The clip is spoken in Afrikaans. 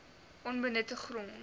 onbenutte grond